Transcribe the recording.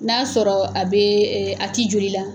N'a sɔrɔ a bee a ti joli la